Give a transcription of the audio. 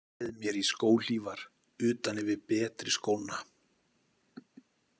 Ég treð mér í skóhlífar utan yfir betri skóna.